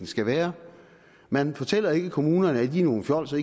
skal være man fortæller ikke kommunerne at de er nogle fjolser